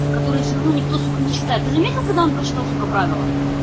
который всё равно никто сука не читает ты заметил когда он прочитал сука правила